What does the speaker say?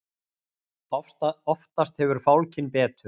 oftast hefur fálkinn betur